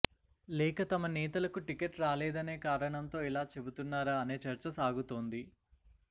లేక తమ నేతలకు టిక్కెట్ రాలేదనే కారణంతో ఇలా చెబుతున్నారా అనే చర్చ సాగుతోంది